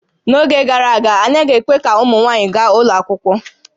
N'oge gara aga, a naghị ekwe ka ụmụ nwaanyị gaa ụlọ akwụkwọ